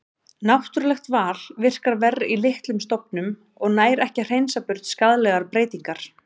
Náttúrulegt val virkar verr í litlum stofnum og nær ekki að hreinsa burt skaðlegar breytingar.